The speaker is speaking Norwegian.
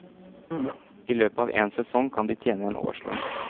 I løpet av en sesong kan de tjene en årslønn.